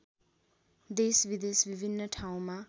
देशविदेश विभिन्न ठाउँमा